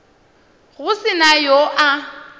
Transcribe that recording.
go se na yo a